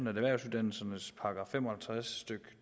erhvervsuddannelsernes § fem og halvtreds stykke